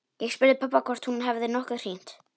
Ég spurði pabba hvort hún hefði nokkuð hringt.